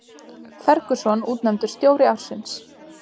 Ferguson útnefndur stjóri ársins